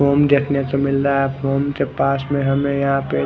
ॐ देखने को मिल रहा है ॐ के पास में हमे यहा पे--